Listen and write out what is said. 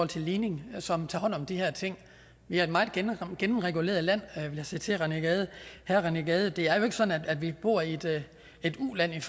til ligning som tager hånd om de her ting vi er et meget gennemreguleret land vil jeg sige til herre rené gade det er jo ikke sådan at vi bor i et uland